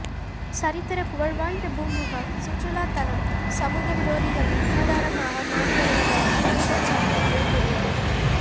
சரித்தர புகழ்வாய்ந்த பூம்புகார் சுற்றுலாத் தலம் சமூகவிரோதிகளின் கூடாரமாக மாறிவருவதாக குற்றச்சாட்டு எழுந்துள்ளது